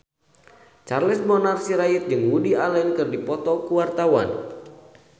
Charles Bonar Sirait jeung Woody Allen keur dipoto ku wartawan